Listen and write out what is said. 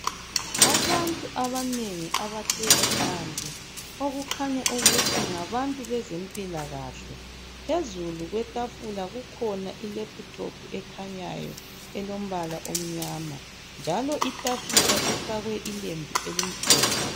Abantu abanengi abahlezi phansi okukhanya ukuthi ngabantu bezempilakahle. Phezulu kwetafula kukhona ilephuthophu ekhanyayo elombala omnyama njalo itafula ifakwe ilembu elimhlophe.